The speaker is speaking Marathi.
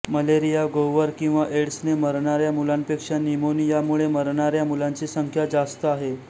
मलेरिया गोवर किंवा एड्सने मरणाऱ्या मुलांपेक्षा न्युमोनियामुळे मरणाऱ्या मुलांची संख्या जास्त आहे